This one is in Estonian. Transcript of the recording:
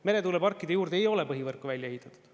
Meretuuleparkide juurde ei ole põhivõrku välja ehitatud.